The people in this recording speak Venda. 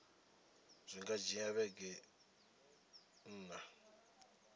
zwi nga dzhia vhege nṋa